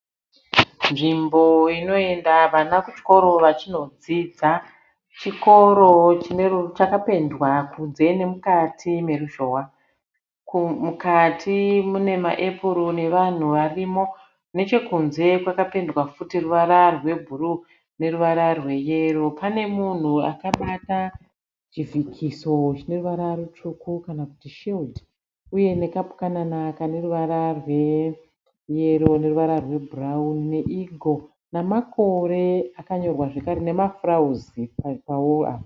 Nzvimbo inoenda vana kuchikoro vachinodzidza. Chikoro chakapenda kunze nemukati meruzhowa. Mukati mune maepuro nevanhu varimo. Nechekunze kwakapendwa futi ruvara rwebhuruu neruvara rweyero. Pane munhu akabata chivhikiso chine ruvara rutsvuku kana kuti shiridhi uye nekapukanana kane ruvara rweyero neruvara rwebhurawuni ,neigo nemakore akanyorwa zvakare, nemafurawuzi paworo apa.